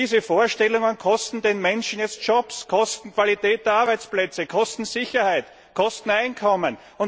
Und diese Vorstellungen kosten die Menschen jetzt Jobs, kosten Qualität der Arbeitsplätze, kosten Sicherheit, kosten Einkommen.